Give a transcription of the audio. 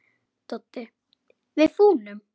Doddi: Við fúnum.